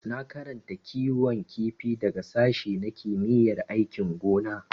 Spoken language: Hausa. Na karanta kiwon kifi daga sashi na kimiyyar aikin gona.